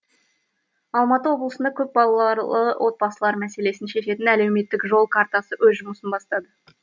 алматы облысында көпбалалы отбасылар мәселесін шешетін әлеуметтік жол картасы өз жұмысын бастады